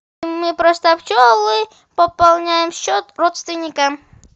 мы просто пчелы пополняем счет родственникам